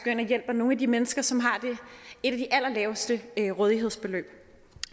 ind og hjælper nogle af de mennesker som har et af de allerlaveste rådighedsbeløb